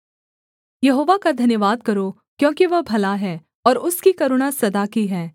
यहोवा का धन्यवाद करो क्योंकि वह भला है और उसकी करुणा सदा की है